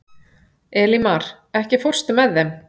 Elímar, ekki fórstu með þeim?